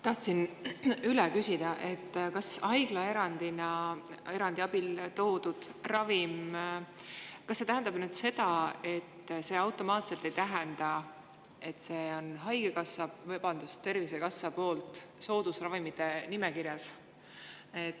Tahtsin üle küsida, kas haiglaerandi abil toodud ravim ei tähenda automaatselt seda, et see on Tervisekassa soodusravimite nimekirjas.